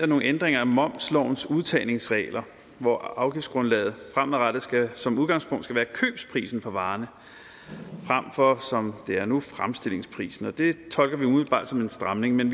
nogle ændringer af momslovens udtagningsregler hvor afgiftsgrundlaget fremadrettet som udgangspunkt skal være købsprisen på varerne fremfor som det er nu fremstillingsprisen det tolker vi umiddelbart som en stramning men